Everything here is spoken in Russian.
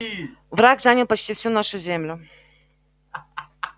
враг занял почти всю нашу землю